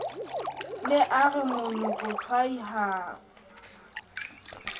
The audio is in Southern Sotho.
ne a re monokotshwai ha